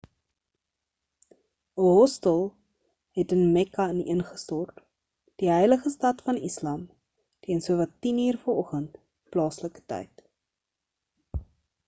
'n hostel het in mekka ineengestort die heilige stad van islam teen sowat 10 uur vanoggend plaaslike tyd